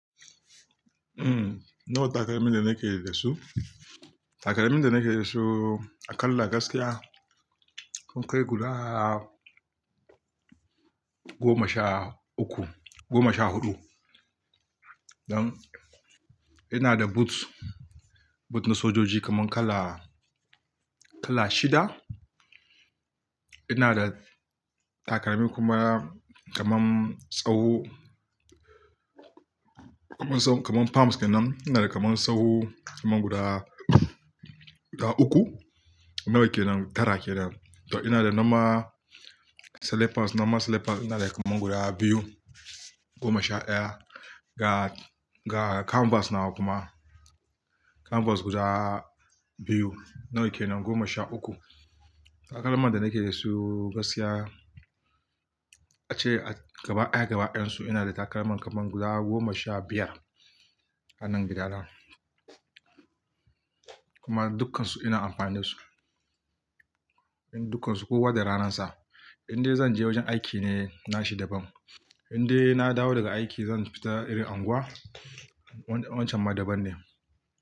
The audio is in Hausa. Umm, nawa takalmin da nake da su? Takalmin da nake da su aƙalla gaskiya sun kai guda goma sha uku, goma sha huɗu. Don ina da boot, boot na sojoji kaman kala, kala shida. Ina da takalmi kuma kaman tsawo, kaman palms kenan. Ina da kaman tsawo kaman guda uku. Nawa kenan, tara kenan. To ina da normal slippers, normal slippers ina da kaman guda biyu, goma sha ɗaya. Ga, ga canvas na kuma canvas guda biyu. Nawa kenan? Goma sha uku. Takalman da nake da su gaskiya ace gaba ɗaya gaba ɗayan su ina da takalman kaman guda goma sha biyar a nan gida na. Kuma dukkansu ina amfani da su. Dukkansu kowa da ranan sa. Inde zan je wajen aiki ne nashi daban. Inde na dawo daga aiki zan fita irin anguwa. Wancan ma daban ne.